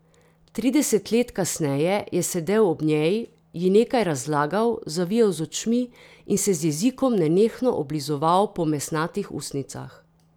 Trideset let kasneje je sedel ob njej, ji nekaj razlagal, zavijal z očmi in se z jezikom nenehno oblizoval po mesnatih ustnicah.